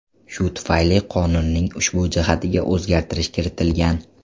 Shu tufayli qonunning ushbu jihatiga o‘zgartirish kiritilgan.